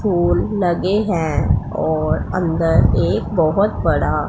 फूल लगे हैं और अंदर एक बहोत बड़ा--